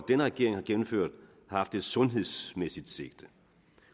denne regering har gennemført har haft et sundhedsmæssigt sigte